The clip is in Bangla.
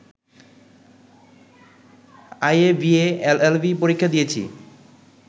আইএ, বিএ, এলএলবি পরীক্ষা দিয়েছি